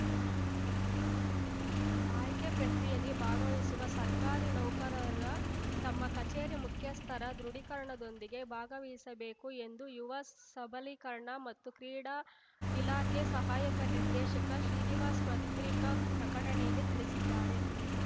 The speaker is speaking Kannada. ಆಯ್ಕೆ ಪ್ರಕ್ರಿಯೆಯಲ್ಲಿ ಭಾಗವಹಿಸುವ ಸರ್ಕಾರಿ ನೌಕರರ ತಮ್ಮ ಕಚೇರಿ ಮುಖ್ಯಸ್ಥರ ದೃಢೀಕರಣದೊಂದಿಗೆ ಭಾಗವಹಿಸಬೇಕು ಎಂದು ಯುವ ಸಬಲೀಕರಣ ಮತ್ತು ಕ್ರೀಡಾ ಇಲಾಖೆ ಸಹಾಯಕ ನಿರ್ದೇಶಕ ಶ್ರೀನಿವಾಸ್ ಪತ್ರಿಕಾ ಪ್ರಕಟಣೆಯಲ್ಲಿ ತಿಳಿಸಿದ್ದಾರೆ